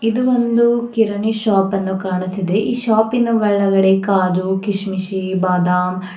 ಇದು ಒಂದು ಕಿರಣಿ ಶಾಪನ್ನು ಕಾಣುತ್ತಿದೆ ಈ ಶಾಪಿನ ಒಳಗಡೆ ಕಾಜು ಕಿಶ್ಮಿಶಿ ಬಾದಾಮ್--